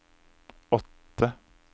åtte